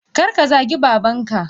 Karka zagi babanka!